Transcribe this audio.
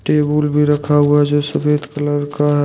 Table भी रखा हुआ है जो सफेद कलर का है।